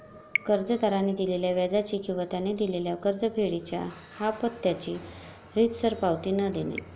कर्जदाराने दिलेल्या व्याजाची किंवा त्याने दिलेल्या कर्जफेडीच्या हाफत्याची रीतसर पावती न देणे